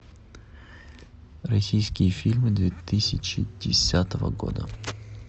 российские фильмы две тысячи десятого года